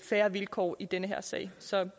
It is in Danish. fair vilkår i den her sag så